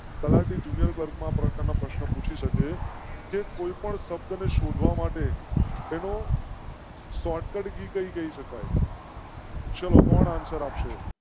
તલાટી junior clerk પ્રકાર ના પ્રશ્નો પૂછી સકે કે કોઈ પણ શબ્દ ને શોધવા માટે તેનો. શોર્ટ કહી શકાય. શો કૌન answer